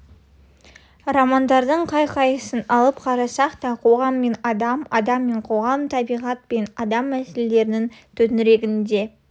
романдардың қай-қайсысын алып қарасақ та қоғам мен адам адам мен қоғам табиғат пен адам мәселелерінің төңірегінде